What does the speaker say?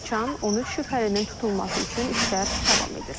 Qaçağan 13 şübhəlinin tutulması üçün işlər davam edir.